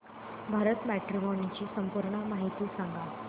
Bharat matrimony ची पूर्ण माहिती सांगा